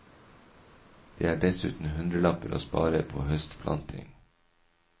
Det er dessuten hundrelapper å spare på høstplanting.